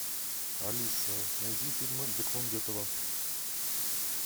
алиса найди фильмы бекмамбетова